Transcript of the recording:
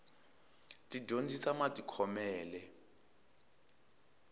ti dyondzisa matikhomele